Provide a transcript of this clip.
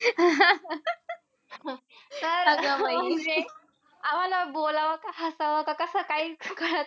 म्हणजे आम्हाला बोलावं का हसावं का कसं काही कळत नाही.